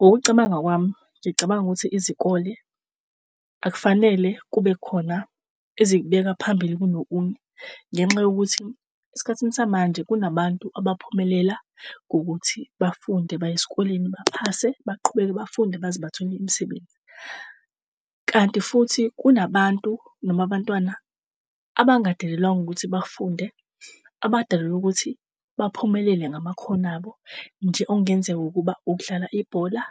Ngokucabanga kwami, ngicabanga ukuthi izikole akufanele kube khona ezikubeka phambili kunokunye. Ngenxa yokuthi esikhathini samanje kunabantu abaphumelela ngokuthi bafunde baye esikolweni, baphase baqhubeke bafunde baze bathole imisebenzi. Kanti futhi kunabantu, noma abantwana, abangadalelwanga ukuthi bafunde, abadalelwa ukuthi baphumelele ngamakhono abo, nje okungenzeka ukuba ukudlala ibhola,